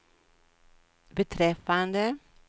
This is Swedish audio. beträffande